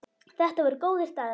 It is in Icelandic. Þetta voru góðir dagar.